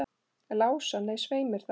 Lása, nei, svei mér þá.